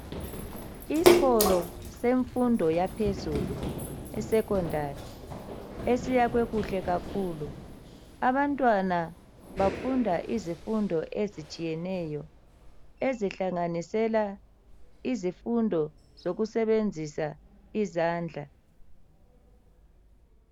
Isikolo semfundo yaphezulu esecondary esiyakhiwe kuhle kakhulu abantwana bafunda izifundo ezitshiyeneyo ezihlanganisela izifundo zokusebenzisa izandla.